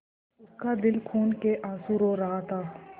उसका दिल खून केआँसू रो रहा था